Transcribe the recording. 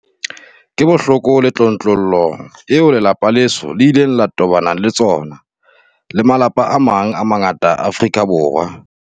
Ke bohloko le tlontlollo eo lelapa leso le ileng la tobana le tsona, le malapa a mang a mangata a Afrika Borwa.